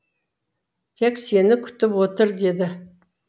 тек сені күтіп отыр деді